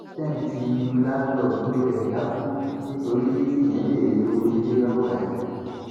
tẹǹtí lù láńlọọdù rẹ dákú nítorí tíyẹn béèrè owó ilé lọwọ ẹ